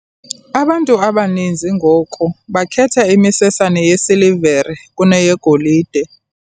Abantu abaninzi ngoku bakhetha imisesane yesilivere kuneyegolide.